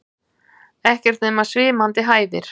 Ekkert nema svimandi hæðir.